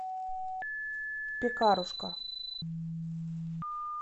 пекарушка